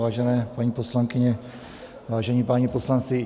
Vážené paní poslankyně, vážení páni poslanci.